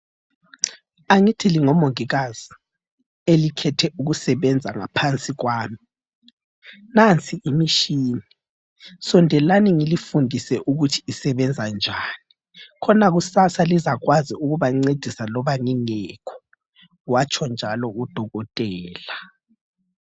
Angithi lingomongikazi, elikhethe ukusebenza ngaphansi okwami. Nansi imitshina, sondelani ngilifundise ukuthi isebenza njani, khona kusasa lizakwazi ukubancedisa loba ngingekho. Watshonjalo udokotela.